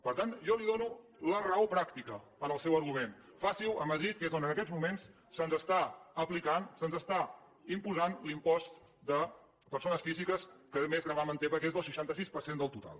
per tant jo li dono la raó pràctica al seu argument faci ho a madrid que és on en aquests moments se’ns està aplicant se’ns està imposant l’impost de persones físiques que més gravamen té perquè és del seixanta sis per cent del total